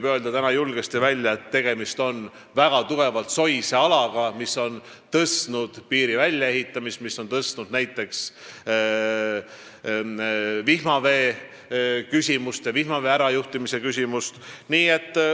Praegu võib julgesti välja öelda, et tegemist on väga tugevalt soise alaga, mis on tõstnud piiri väljaehitamise hinda ja tõstatanud ka näiteks vihmavee ärajuhtimise küsimuse.